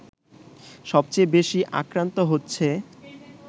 সবচেয়ে বেশি আক্রান্ত হচ্ছে